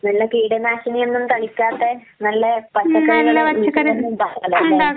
പിന്നെ കീടനാശിനിയൊന്നും തളിക്കാത്ത നല്ല പച്ചക്കറികള് വീട്ടില് തന്നെ ഇണ്ടാക്കാലോ.